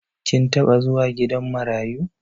Kin taɓa zuwa gidan marayu?